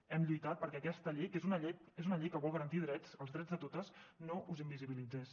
hem lluitat perquè aquesta llei que és una llei que vol garantir drets els drets de totes no us invisibilitzés